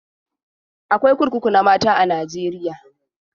Akwai kurkuku na mata a Najeriya?